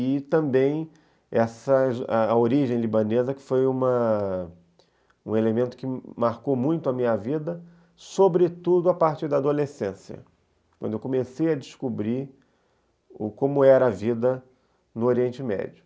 e também, essa, a origem libanesa, que foi um elemento que marcou muito a minha vida, sobretudo a partir da adolescência, quando eu comecei a descobrir como era a vida no Oriente Médio.